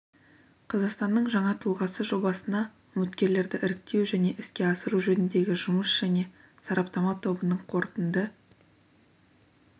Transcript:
қазақстанның жаңа тұлғасы жобасына үміткерлерді іріктеу және іске асыру жөніндегі жұмыс және сараптама тобының қорытынды